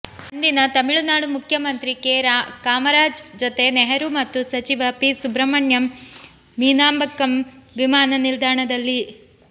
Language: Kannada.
ಅಂದಿನ ತಮಿಳು ನಾಡು ಮುಖ್ಯಮಂತ್ರಿ ಕೆ ಕಾಮರಾಜ್ ಜೊತೆ ನೆಹರೂ ಮತ್ತು ಸಚಿವ ಸಿ ಸುಬ್ರಹ್ಮಣ್ಯನ್ ಮೀನಾಂಬಕ್ಕಮ್ ವಿಮಾನ ನಿಲ್ದಾಣದಲ್ಲಿ